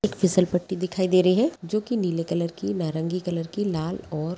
एक फिसलपट्टी दिखाई दे रही है जो कि नीले कलर की नारंगी कलर की लाल और --